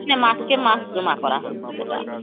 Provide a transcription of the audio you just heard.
ନା ମାସକେ ମାସ ଜମା କର ହଉଛେ ସେଟା